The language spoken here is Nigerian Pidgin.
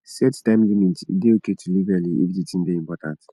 set time limit e dey okay to leave early if the thing dey important